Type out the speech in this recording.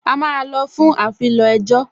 A máa lọ fún afilọ ẹjọ́